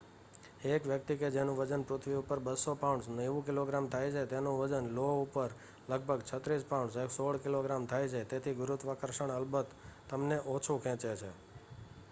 એક વ્યક્તિ કે જેનું વજન પૃથ્વી ઉપર 200 પાઉન્ડસ 90 કિગ્રા થાય છે તેનું વજન લો ઉપર લગભગ 36 પાઉન્ડસ 16 કિગ્રા થાય છે. તેથી ગુરુત્વાકર્ષણ અલબત તમને ઓછું ખેંચે છે